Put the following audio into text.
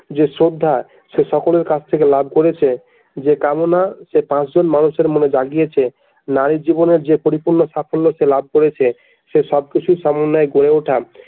যে শ্রদ্ধা সে সকলের কাছ থেকে লাভ করেছে যে কামনা সে পাঁচজন মানুষের মনে জাগিয়েছে নারীর জীবনে যে পরিপূর্ণ সাফল্য সে লাভ করেছে সে সব কিছুর সমন্বয় গড়ে ওঠা।